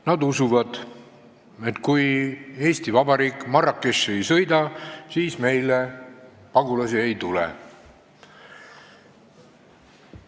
Nad usuvad, et kui keegi Eesti Vabariigist Marrakechi ei sõida, siis meile pagulasi ei tule.